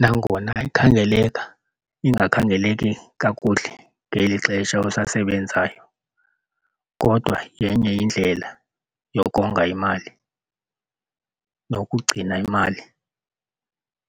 Nangona ikhangeleka ingakhangeleki kakuhle ngeli xesha usasebenzayo kodwa yenye indlela yokonga imali nokugcina imali